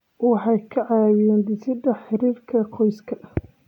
Waxay ka caawiyaan dhisidda xiriirka qoyska.